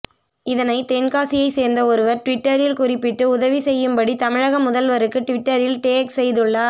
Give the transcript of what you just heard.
இதனை தென்காசியை சேர்ந்த ஒருவர் டுவிட்டரில் குறிப்பிட்டு உதவி செய்யும்படி தமிழக முதல்வருக்கு டிவிட்டரில் டேக் செய்துள்ளார்